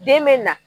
Den bɛ na